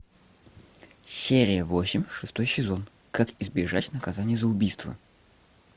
серия восемь шестой сезон как избежать наказания за убийство